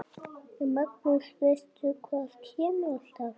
Magnús: Veistu hvað kemur alltaf?